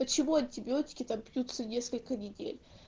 почему антибиотики там пьются несколько недель